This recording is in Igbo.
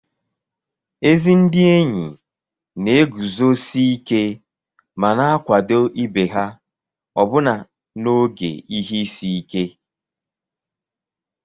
Ezi ndị enyi na-eguzosi ike ma na-akwado ibe ha ọbụna n'oge ihe isi ike